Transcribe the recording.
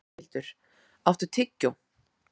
Sæhildur, áttu tyggjó?